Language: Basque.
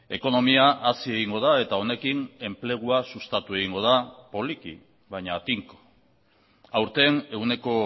ekonomia hazi egingo da eta honekin enplegua sustatu egingo da poliki baina tinko aurten ehuneko